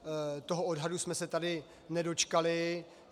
Toho odhadu jsme se tady nedočkali.